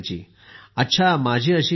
अच्छा माझी अशी इच्छा आहे